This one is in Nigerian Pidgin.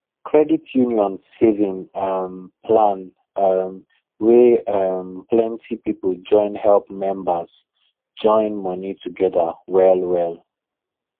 credit union saving um plan um wey um plenty people join help members join money together well well